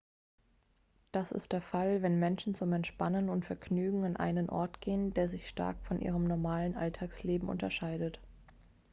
das ist der fall wenn menschen zum entspannen und vergnügen an einen ort gehen der sich stark von ihrem normalen alltagsleben unterscheidet